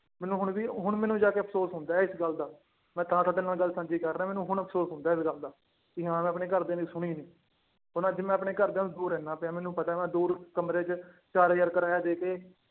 ਮੈਨੂੰ ਹੁਣ ਵੀ ਹੁਣ ਮੈਨੂੰ ਜਾ ਕੇ ਅਫ਼ਸੋਸ ਹੁੰਦਾ ਹੈ ਇਸ ਗੱਲ ਦਾ, ਮੈਂ ਤਾਂ ਤੁਹਾਡੇ ਨਾਲ ਗੱਲ ਸਾਂਝੀ ਕਰ ਰਿਹਾਂ ਮੈਨੂੰ ਹੁਣ ਅਫ਼ਸੋਸ ਹੁੰਦਾ ਹੈ ਇਸ ਗੱਲ ਦਾ ਵੀ ਹਾਂ ਮੈਂ ਆਪਣੇ ਘਰਦਿਆਂ ਦੀ ਸੁਣੀ ਨੀ, ਹੁਣ ਅੱਜ ਮੈਂ ਆਪਣੇ ਘਰਦਿਆਂ ਤੋਂ ਦੂਰ ਰਹਿਨਾ ਪਿਆ ਮੈਨੂੰ ਪਤਾ ਮੈਂ ਦੂਰ ਕਮਰੇ ਚ ਚਾਰ ਹਜ਼ਾਰ ਕਰਾਇਆਾ ਦੇ ਕੇ